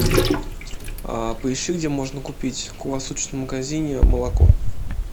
поищи где можно купить в круглосуточном магазине молоко